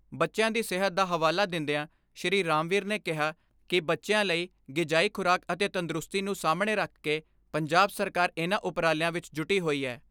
ਬੱਚਿਆਂ ਦੀ ਸਿਹਤ ਦਾ ਹਵਾਲਾ ਦਿੰਦਿਆਂ ਸ਼੍ਰੀ ਰਾਮਵੀਰ ਨੇ ਕਿਹਾ ਕਿ ਬੱਚਿਆਂ ਲਈ ਗਿਜਾਈ ਖੁਰਾਕ ਅਤੇ ਤੰਦਰੁਸਤੀ ਨੂੰ ਸਾਹਮਣੇ ਰੱਖਕੇ ਪੰਜਾਬ ਸਰਕਾਰ ਇਨ੍ਹਾਂ ਉਪਰਾਲਿਆਂ ਵਿੱਚ ਜੁਟੀ ਹੋਈ ਹੈ।